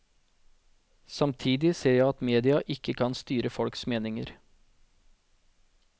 Samtidig ser jeg at media ikke kan styre folks meninger.